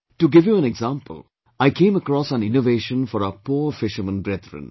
To give you an example, I came across an innovation for our poor fishermen brethren